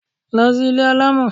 Lọ sí ilé alamọ!